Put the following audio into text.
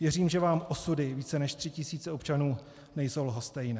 Věřím, že vám osudy více, než tří tisíc občanů nejsou lhostejné.